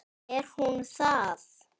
Er hún það?